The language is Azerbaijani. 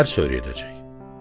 Dərs öyrədəcək.